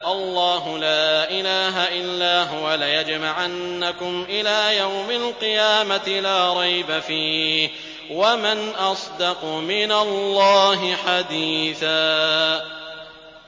اللَّهُ لَا إِلَٰهَ إِلَّا هُوَ ۚ لَيَجْمَعَنَّكُمْ إِلَىٰ يَوْمِ الْقِيَامَةِ لَا رَيْبَ فِيهِ ۗ وَمَنْ أَصْدَقُ مِنَ اللَّهِ حَدِيثًا